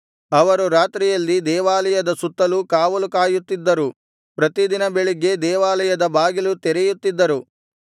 ಅವರು ರಾತ್ರಿಯಲ್ಲಿ ದೇವಾಲಯದ ಸುತ್ತಲೂ ಕಾವಲು ಕಾಯುತ್ತಿದ್ದರು ಪ್ರತಿದಿನ ಬೆಳಿಗ್ಗೆ ದೇವಾಲಯದ ಬಾಗಿಲು ತೆರೆಯುತ್ತಿದ್ದರು